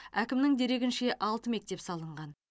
әкімнің дерегінше алты мектеп салынған